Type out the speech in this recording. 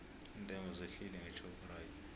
iintengo zehlile ngeshoprite